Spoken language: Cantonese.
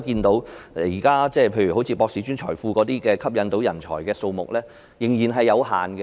大家可見，博士專才庫吸引人才的數目仍然有限。